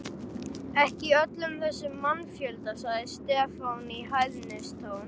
Ekki í öllum þessum mannfjölda, sagði Stefán í hæðnistón.